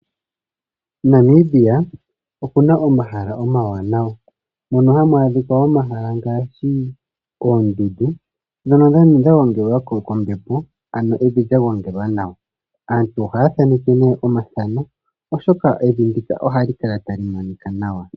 Namibia oku na omahala omawanawa mono hamu adhika omahala ngaashi oondundu, ndhono dha gongelwa kombepo ano evi lya gongelwa nawa. Aantu ohaya thaneke nee omathano oshoka evi ndika ohali kalanta li monika nawa.